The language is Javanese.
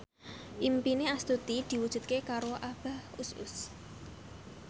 impine Astuti diwujudke karo Abah Us Us